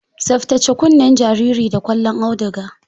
Tsaftace kunnen jariri da ƙwallon auduga.